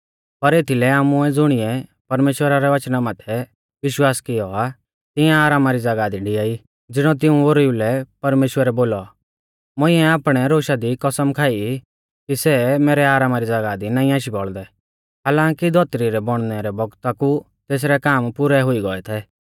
पर एथीलै आमुऐ ज़ुणिऐ परमेश्‍वरा रै वचना माथै विश्वास कियौ आ तिऐं आरामा री ज़ागाह दी डिआई ज़िणौ तिऊं ओरीऊ लै परमेश्‍वरै बोलौ मुंइऐ आपणै रोशा दी कसम खाई कि सै मैरै आरामा री ज़ागाह दी नाईं आशी बौल़दै हालांकी धौतरी रै बौणनै रै बौगता कु तेसरै काम पुरै हुई गौऐ थै